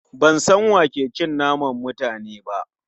Ban san wa ke cin naman mutane ba